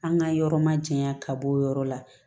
An ka yɔrɔ ma jayan ka bɔ o yɔrɔ la